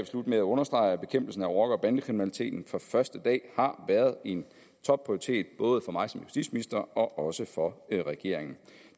slutte med at understrege at bekæmpelsen af rocker og bandekriminaliteten fra første dag har været en topprioritet både for mig som justitsminister og også for regeringen